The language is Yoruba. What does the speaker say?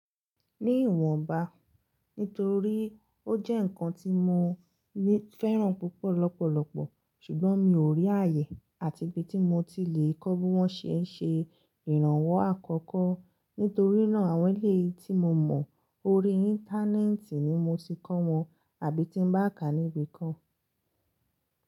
Ní ìwọ̀nba, nítorí ó jẹ́ ǹkan tí mo fẹ́ràn púpọ̀ lọ́pọ̀lọpọ̀, ṣùgbọ́n mi ò rí ààyè àti ibi tí mo ti lè kọ bí wọ́n ṣe ń ṣe ìrànwọ́ àkọ́kọ́. Nítorínà àwọn eleyi tí mo mọ̀ lórí íńtánẹ́ẹ̀tì ni mo ti kọ́ wọn àbí tí ń bá ká níbi kan.